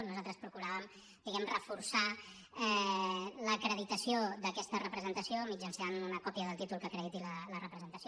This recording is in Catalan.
nosaltres procuràvem reforçar l’acreditació d’aquesta representació mitjançant una còpia del títol que acrediti la representació